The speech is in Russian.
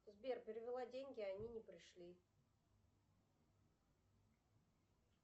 сбер перевела деньги а они не пришли